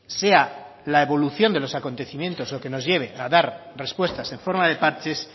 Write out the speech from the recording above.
sea la evolución de los acontecimientos lo que nos lleve a dar respuestas en forma de parches